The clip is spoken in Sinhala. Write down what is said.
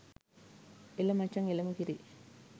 එල මචං එලම කිරි